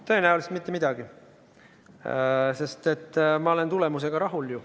Tõenäoliselt mitte midagi, sest ma olen ju tulemusega rahul.